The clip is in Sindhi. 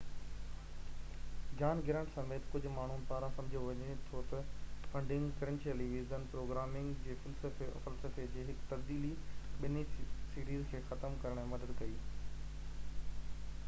جان گرانٽ سميت ڪجهه ماڻهن پاران سمجهيو وڃي ٿو ته فنڊنگ ڪرنچ ٽيليويزن پروگرامنگ جي فلسفي جي هڪ تبديلي ٻنهي سيريز کي ختم ڪرڻ ۾ مدد ڪئي